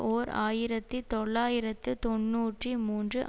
ஓர் ஆயிரத்தி தொள்ளாயிரத்து தொன்னூற்றி மூன்று